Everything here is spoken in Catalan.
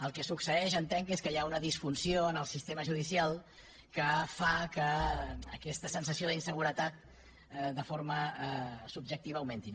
el que succeeix entenc que és que hi ha una disfunció en el sistema judicial que fa que aquesta sensació d’inseguretat de forma subjectiva augmenti